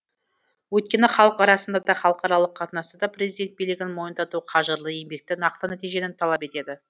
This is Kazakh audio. өйткені халық арасында да халықаралық қатынаста да президент билігін мойындату қажырлы еңбекті нақты нәтижені талап етеді